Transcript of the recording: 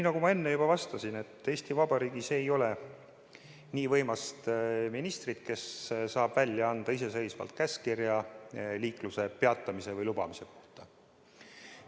Nagu ma enne juba vastasin, Eesti Vabariigis ei ole nii võimast ministrit, kes saaks iseseisvalt anda käskkirja liikluse peatamise või lubamise kohta.